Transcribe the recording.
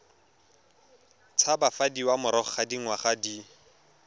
tshabafadiwa morago ga dingwaga di